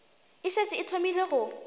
e šetše e thomile go